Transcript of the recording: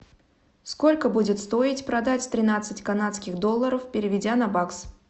сколько будет стоить продать тринадцать канадских долларов переведя на бакс